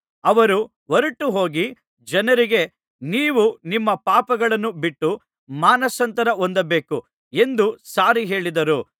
ಅವರು ಹೊರಟು ಹೋಗಿ ಜನರಿಗೆ ನೀವು ನಿಮ್ಮ ಪಾಪಗಳನ್ನು ಬಿಟ್ಟು ಮಾನಸಾಂತರ ಹೊಂದಬೇಕು ಎಂದು ಸಾರಿ ಹೇಳಿದರು